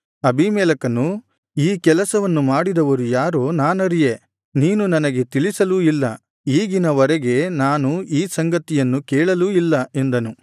ಅಬೀಮೆಲೆಕನು ಈ ಕೆಲಸವನ್ನು ಮಾಡಿದವರು ಯಾರೋ ನಾನರಿಯೆ ನೀನು ನನಗೆ ತಿಳಿಸಲೂ ಇಲ್ಲ ಈಗಿನ ವರೆಗೆ ನಾನು ಈ ಸಂಗತಿಯನ್ನು ಕೇಳಲೂ ಇಲ್ಲ ಎಂದನು